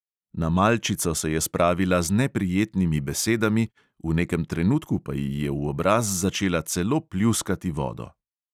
Na malčico se je spravila z neprijetnimi besedami, v nekem trenutku pa ji je v obraz začela celo pljuskati vodo.